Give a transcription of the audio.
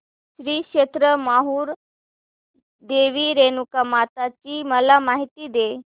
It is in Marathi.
श्री क्षेत्र माहूर देवी रेणुकामाता ची मला माहिती दे